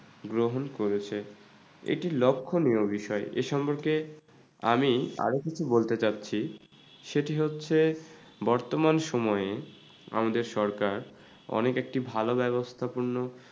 গ্রহণ করেছে। এটি লক্ষ্যণীয় বিষয় এই সম্পর্কে আমি আরো কিছু বলতে চাচ্ছি সেটি হচ্ছে বর্তমান সময়ে আমাদের সরকার অনেক একটি ভালো ব্যাবস্থা পূর্ণ।